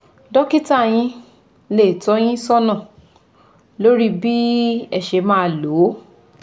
Dọ́kítà yín lè tọ́ ọ yín sọnà lórí bí ẹ ṣe máa lò ó